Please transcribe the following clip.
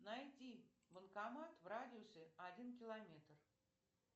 найти банкомат в радиусе один километр